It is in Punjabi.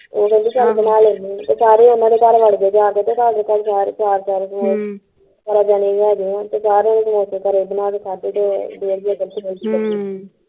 ਉਹ ਕਹਿਣਡੀ ਚੱਲ ਬਣਾ ਲੈਂਦੇ ਉਹ ਸਾਰੇ ਹੁਣ ਉਹਨਾਂ ਦੇ ਘਰ ਵੜ ਗਏ ਜਾਂ ਕੇ ਤੇ ਸਾਰੇ ਚਾਰ ਚਾਰ ਤੇ ਚਾਰ ਜਣੇ ਹੈਗੇ ਆ ਤੇ ਚਾਰਾਂ ਨੇ ਜੜੇ ਬਣਾ ਕੇ ਖਾਧੇ ਤੇ ਫੇਰ ਵੀ ਅਕਲ ਹਮ